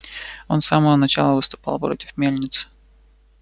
он с самого начала выступал против мельницы